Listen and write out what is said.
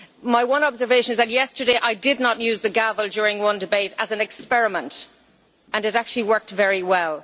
My one observation is that yesterday I did not use the gavel during one debate, as an experiment, and it actually worked very well.